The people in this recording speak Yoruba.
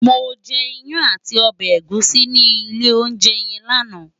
Mó je iyán àtí òbè égùsí ni ilé óunjè yèn làná